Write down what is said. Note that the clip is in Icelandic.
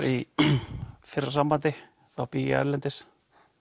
í fyrra sambandi þá bý ég erlendis